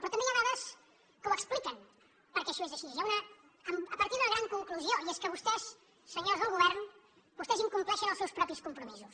però també hi ha dades que ho expliquen per què això és així a partir d’una gran conclusió i és que vostès senyors del govern incompleixen els seus propis compromisos